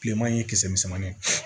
Bileman ye kisɛ misɛnmannin